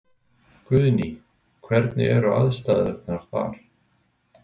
Guðný: Hvernig eru aðstæðurnar þar?